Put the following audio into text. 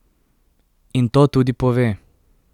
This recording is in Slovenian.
In to tudi pove.